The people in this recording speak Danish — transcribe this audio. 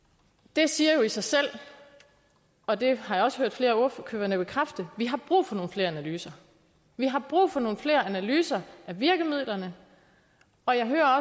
det siger jo i sig selv og det har jeg også hørt flere af ordførerne bekræfte vi har brug for nogle flere analyser vi har brug for nogle flere analyser af virkemidlerne og jeg hører